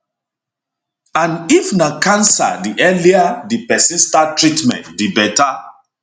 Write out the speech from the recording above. and if na cancer di earlier di pesin start treatment di beta